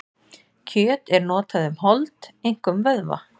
Kjöt er notað um hold, einkum vöðva.